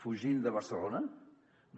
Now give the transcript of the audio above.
fugint de barcelona no